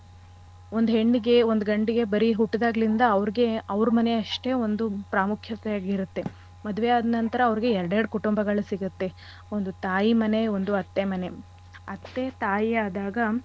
ಒಂದ್ ಹೆಣ್ಣಿಗೆ ಒಂದ್ ಗಂಡಿಗೆ ಬರೀ ಹುಟ್ದಾಗ್ಲಿಂದ ಅವ್ರ್ಗೆ ಅವ್ರ್ ಮನೆ ಅಷ್ಟೇ ಒಂದು ಪ್ರಾಮುಖ್ಯತೆ ಆಗಿರತ್ತೆ. ಮದ್ವೆ ಆದ್ ನಂತರ ಅವ್ರ್ಗೆ ಎರ್ಡ್ ಎರ್ಡ್ ಕುಟುಂಬಗಳ್ ಸಿಗತ್ತೆ. ಒಂದು ತಾಯಿ ಮನೆ ಒಂದು ಅತ್ತೆ ಮನೆ. ಅತ್ತೆ ತಾಯಿ ಆದಾಗ.